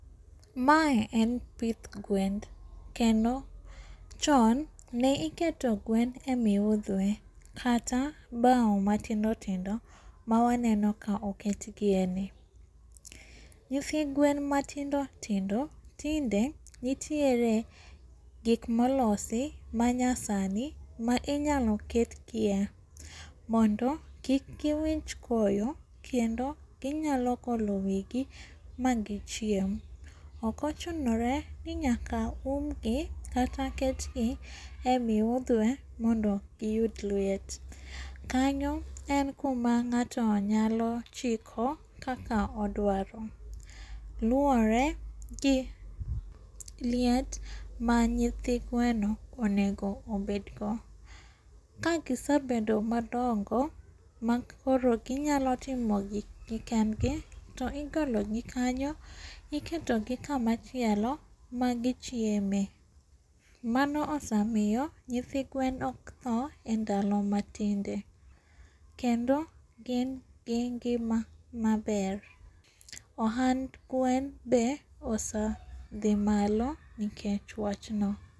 Mae en pith gwen. Kendo chon ne iketo gwen e miudhwe kata bao matindo tindo ma waneno ka oketgieni. Nyithi gwen matindo tindo tinde nitiere gik molosi manyasani ma inyalo ketgie mondo kik gi winj koyo kendo ginyalo golo wigi ma gi chiem ok ochunore ni nyaka umgi kata ketgie emiudhwe mondo giyud liet. Kanyo en kuma ng'ato nyalo chiko kaka odwaro. Luore gi liet ma nyithi gweno onego obedgo. Ka gisebedo madongo makoro ginyalo timo gik gi kendgi to igolo gi kanyo iketogi kama chielo ma gichieme. Mano osamiyo nyithi gwen ok thoo endalo matinde. Kendo gin gi ngima maber. Ohand gwen be osadhi malo nikech wachno.